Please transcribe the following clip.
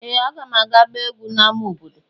Ee! Aga m aga gbaa egwú n’ámá obodo.